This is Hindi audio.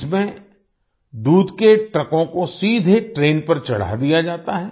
इसमें दूध के ट्रकों को सीधे ट्रेन पर चढ़ा दिया जाता है